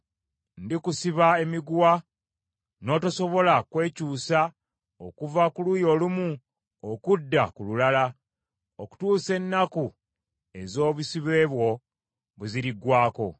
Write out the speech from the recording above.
Ndikusiba emiguwa n’otosobola kwekyusa okuva ku luuyi olumu okudda ku lulala, okutuusa ennaku ez’obusibe bwo lwe ziriggwaako.